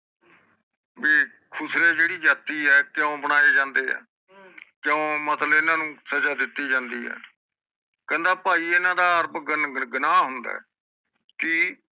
B ਖੁਸਰੇ ਜਿਹੜੀ ਜਾਤੀ ਹੈ ਕਿਊ ਬਣਾਏ ਜਾਂਦੇ ਹੈ ਕਿਊ ਮਤਲਬ ਇਹਨਾਂ ਨੂੰ ਸਜਾ ਦਿੱਤੀ ਜਾਂਦੀ ਹੈ ਕਹਿੰਦਾ ਪਾਈ ਇਹਨਾਂ ਦਾ ਅਰਪ ਗੁਨ ਗੁਨਾਹ ਹੁੰਦਾ ਹੈ ਕਿ